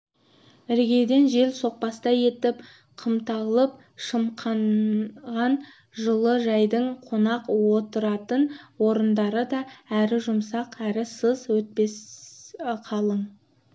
іргеден жел соқпастай етіп қымталып-шымқанған жылы жайдың қонақ отыратын орындары да әрі жұмсақ әрі сыз өткізбес қалың